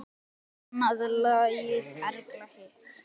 Ég annað lagið, Erla hitt!